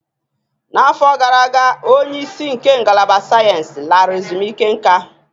N'afọ gara aga, onye isi nke Ngalaba Sayensị lara ezumike nká